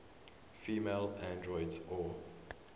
female androids or